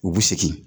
U bɛ segin